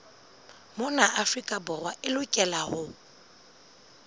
mona afrika borwa e lokelwa